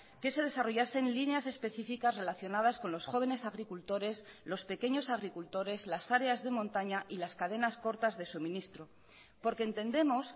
que se desarrollasen líneas específicas relacionadas con los jóvenes agricultores los pequeños agricultores las áreas de montaña y las cadenas cortas de suministro porque entendemos